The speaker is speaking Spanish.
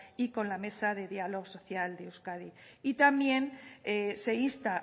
y con la mesa de diálogo social de euskadi y también se insta